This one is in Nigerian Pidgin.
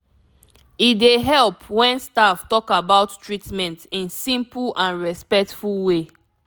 e dey help when staff talk about treatment in simple and respectful way